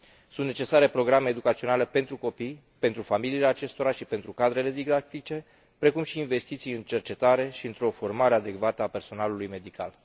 Sunt necesare programe educaționale pentru copii, pentru familiile acestora și pentru cadrele didactice, precum și investiții în cercetare și într o formare adecvată a personalului medical.